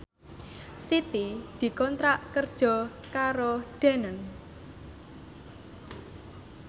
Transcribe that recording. Siti dikontrak kerja karo Danone